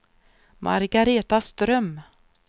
Margareta Ström